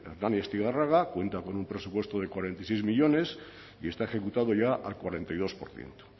hernani y astigarraga cuentan con un presupuesto de cuarenta y seis millónes y está ejecutado ya al cuarenta y dos por ciento